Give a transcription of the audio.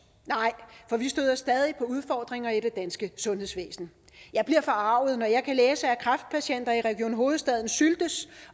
nej for vi støder stadig på udfordringer i det danske sundhedsvæsen jeg bliver forarget når jeg kan læse at kræftpatienter i region hovedstaden syltes